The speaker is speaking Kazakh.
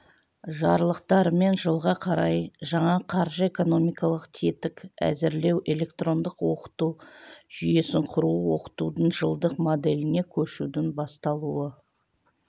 жарлықтарымен жылға қарай жаңа қаржы-экономикалық тетік әзірлеу электрондық оқыту жүйесін құру оқытудың жылдық моделіне көшудің басталуы